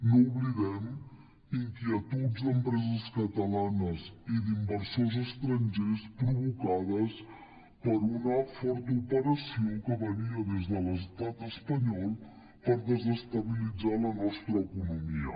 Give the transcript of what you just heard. no ho oblidem inquietuds d’empreses catalanes i d’inversors estrangers provocades per una forta operació que venia des de l’estat espanyol per desestabilitzar la nostra economia